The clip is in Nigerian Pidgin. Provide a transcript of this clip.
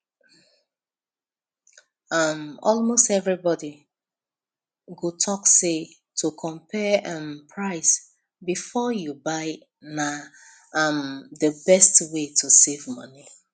um almost everybody go talk say to compare um price before you buy na um the best way to save money